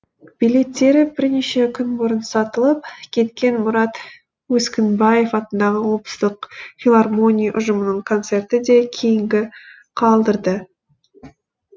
билеттері бірнеше күн бұрын сатылып кеткен мұрат өскінбаев атындағы облыстық филармония ұжымының концерті де кейінгі қалдырды